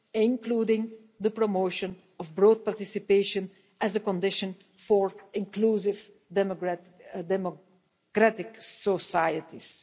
including the promotion of broad participation as a condition for inclusive democratic societies.